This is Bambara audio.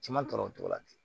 Ciman tɔɔrɔ o togo la ten